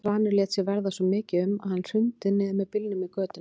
Svanur lét sér verða svo mikið um að hann hrundi niður með bílnum í götuna.